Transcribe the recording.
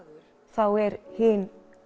þá er hin